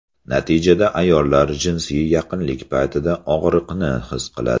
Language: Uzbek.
Natijada ayollar jinsiy yaqinlik paytida og‘riqni his qiladi.